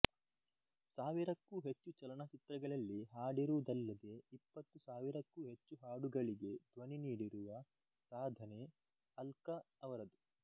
ಸಾವಿರಕ್ಕೂ ಹೆಚ್ಚು ಚಲನಚಿತ್ರಗಳಲ್ಲಿ ಹಾಡಿರುವುದಲ್ಲದೆ ಇಪ್ಪತ್ತು ಸಾವಿರಕ್ಕೂ ಹೆಚ್ಚು ಹಾಡುಗಳಿಗೆ ಧ್ವನಿ ನೀಡಿರುವ ಸಾಧನೆ ಅಲ್ಕಾ ಅವರದು